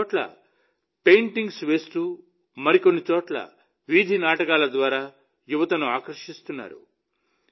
కొన్నిచోట్ల పెయింటింగ్స్ వేస్తూ మరికొన్ని చోట్ల వీధినాటకాల ద్వారా యువతను ఆకర్షిస్తున్నారు